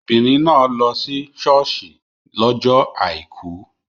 Obìnrin náà lọ sí ṣọ́ọ̀ṣì lọ́jọ́ Àìkú.